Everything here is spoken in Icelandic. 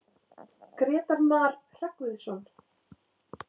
Grétar Mar Hreggviðsson.